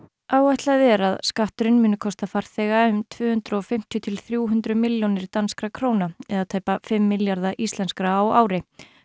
áætlað er að skatturinn muni kosta farþega um tvö hundruð og fimmtíu til þrjú hundruð milljónir danskra króna eða tæpa fimm milljarða íslenskra á ári